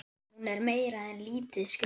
Hún er meira en lítið skrítin.